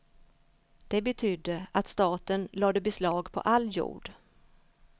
Det betydde att staten lade beslag på all jord.